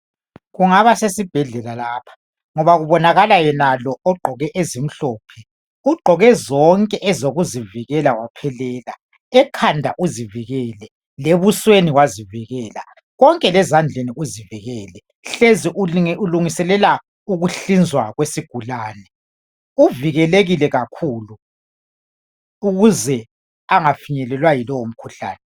Kungaba sesibhedlela lapha ngoba kubonakala yenalo ogqoke ezimhlophe ugqoke zonke ezokuzivikela waphelela ekhanda uzivikele lebusweni wazivikela konke lezandleni uzivikele hlezi ulungiselela ukuhlinzwa kwesigulane uvikelekile kakhulu ukuze angafinyelelwa yilo mkhuhlane